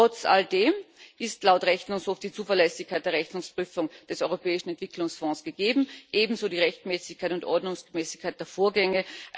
Trotz alldem ist laut Rechnungshof die Zuverlässigkeit der Rechnungsprüfung des Europäischen Entwicklungsfonds gegeben, ebenso die Rechtmäßigkeit und Ordnungsmäßigkeit der Vorgänge.